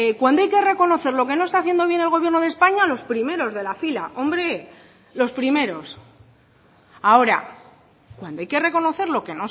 cuando hay que reconocer lo que no está haciendo bien el gobierno de españa los primeros de la fila ahora cuando hay que reconocer lo que